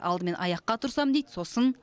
алдымен аяққа тұрсам дейді сосын